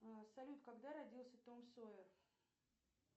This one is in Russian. салют когда родился том сойер